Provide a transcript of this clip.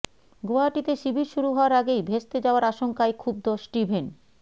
গুয়াহাটিতে শিবির শুরু হওয়ার আগেই ভেস্তে যাওয়ার আশঙ্কায় ক্ষুব্ধ স্টিভেন